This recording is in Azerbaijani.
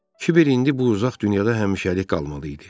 Kibər indi bu uzaq dünyada həmişəlik qalmalı idi.